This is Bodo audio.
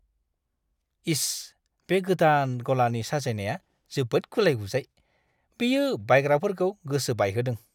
इस, बे गोदान गलानि साजायनाया जोबोद गुलाय-गुजाय! बेयो बायग्राफोरखौ गोसो बायहोदों।